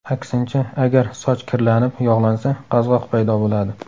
Aksincha, agar soch kirlanib, yog‘lansa, qazg‘oq paydo bo‘ladi.